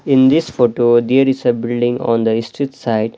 In this photo there is a building on the street side.